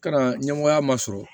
Kana ɲɛmɔgɔya ma sɔrɔ